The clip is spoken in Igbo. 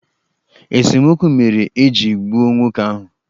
Esemokwu mere eji gbuo nwoke ahụ